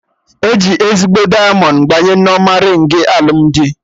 Eji ezigbo dịamọnd gbanye Nneoma rịng alụmdi